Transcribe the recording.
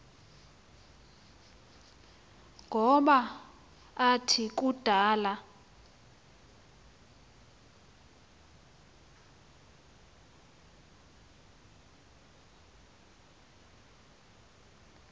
ngoba athi kudala